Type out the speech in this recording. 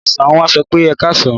Ní ọ̀sán, wọ́n á sọ pé "ẹkáàsán".